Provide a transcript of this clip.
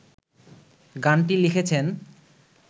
গানটি লিখেছেন